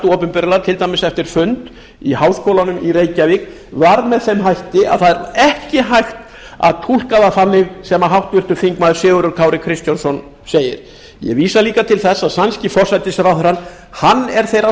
opinberlega til dæmis eftir fund í háskólanum í reykjavík var með þeim hætti að það er ekki hægt að túlka það þannig sem háttvirtur þingmaður sigurður kári kristjánsson segir ég vísa líka til þess að sænski forsætisráðherrann er þeirrar